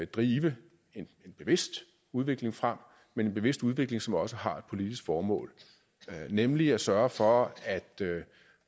drive en bevidst udvikling frem men en bevidst udvikling som også har et politisk formål nemlig at sørge for at